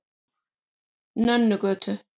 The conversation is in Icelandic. Nönnugötu